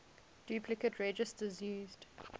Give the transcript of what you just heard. duplicate registers used